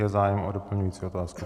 Je zájem o doplňující otázku?